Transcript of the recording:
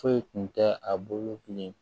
Foyi tun tɛ a bolo bilen